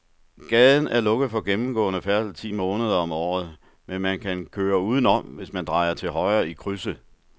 Gaden er lukket for gennemgående færdsel ti måneder om året, men man kan køre udenom, hvis man drejer til højre i krydset.